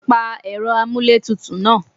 Pa ẹ̀rọ amuletutu náà!